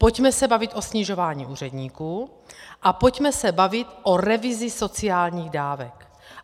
Pojďme se bavit o snižování úředníků a pojďme se bavit o revizi sociálních dávek.